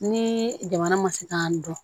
Ni jamana ma se k'an dɔn